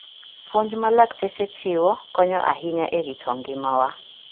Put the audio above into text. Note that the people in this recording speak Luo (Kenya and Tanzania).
Puonj ma lakteche chiwo konyo ahinya e rito ngimawa .